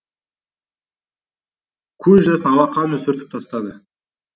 көз жасын алақанымен сүртіп тастады